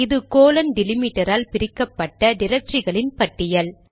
அது கோலன் டிலிமிடரால் பிரிக்கப்பட்ட டிரக்டரிகளின் பட்டியல்